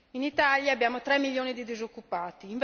In Italia abbiamo tre milioni di disoccupati